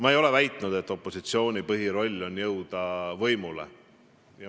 Ma ei ole väitnud, et opositsiooni põhisoov on jõuda võimule.